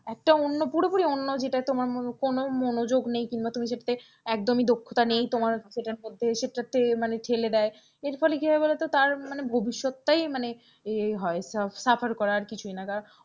একটা অন্য পুরোপুরি অন্য যেটাই তোমার কোন মনোযোগ নেই কিংবা তুমি সেটাতে একদমই দক্ষতা নেই তোমার ঐটার মধ্যে সেটাতে মানে ঠেলে দেয় এর ফলে কি হয় বলতো তার মানে ভবিষ্যৎটাই মানে ইয়ে হয় suffer করা আর কিছুই নয়